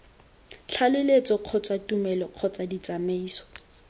tlaleletso kgotsa tumelelo kgotsa ditsamaiso